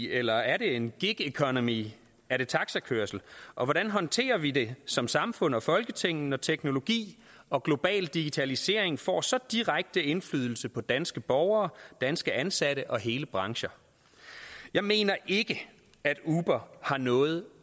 eller er det en gig economy er det taxakørsel og hvordan håndterer vi det som samfund og folketing når teknologi og global digitalisering får så direkte indflydelse på danske borgere danske ansatte og hele brancher jeg mener ikke at uber har noget